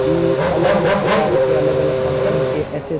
ई अलग-अलग प्रकार के अलग-अलग कंपनी के एस.एस. --